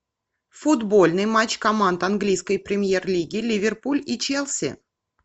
футбольный матч команд английской премьер лиги ливерпуль и челси